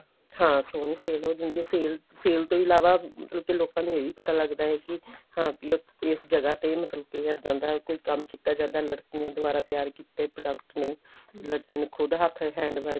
ਹਾਂ ਸੋਹਣੀ sale ਹੋ ਜਾਂਦੀ ਆ sale sale ਤੋਂ ਇਲਾਵਾ ਮਤਲਬ ਲੋਕਾਂ ਨੂੰ ਇਹ ਵੀ ਪਤਾ ਲੱਗਦਾ ਏ ਕੀ ਹਾਂ ਵੀ ਉੱਥੇ ਇਸ ਜਗ੍ਹਾ ਤੇ ਮਤਲਬ ਕੇ ਇਹਦਾ ਦਾ ਕੋਈ ਕੰਮ ਕੀਤਾ ਜਾਂਦਾ ਲੜਕੀਆਂ ਦੁਆਰਾ ਤਿਆਰ ਕੀਤੇ product ਨੇ ਲੜਕੀਆਂ ਨੇ ਖੁੱਦ hand work